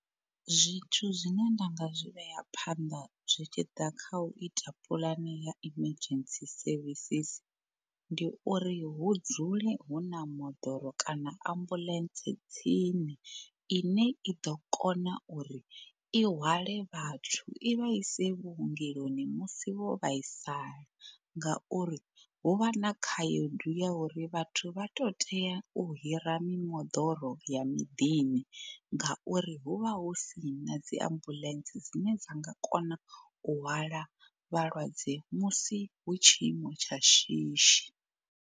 Zwithu zwine nda nga zwi vhea phanḓa zwi tshi ḓa kha u ita puḽane ya emergency services, ndi uri hu dzule hu na moḓoro kana ambuḽentse tsini ine i ḓo kona uri i hwale vhathu i vha ise vhuongeloni musi vho vhaisala. Ngauri hu vha na khaedu ya uri vhathu vha to tea u hira mimoḓoro ya miḓini ngauri hu vha hu sina dzi ambulance dzine dza nga kona u hwala vhalwadze musi hu tshiimo tsha shishi.